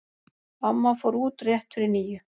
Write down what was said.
Amma fór út rétt fyrir níu.